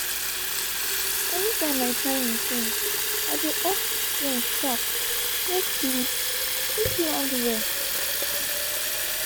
anytime my timing change i dey off screen sharp make sleep fit land well